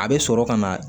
A bɛ sɔrɔ ka na